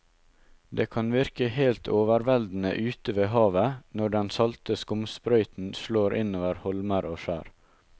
Det kan virke helt overveldende ute ved havet når den salte skumsprøyten slår innover holmer og skjær.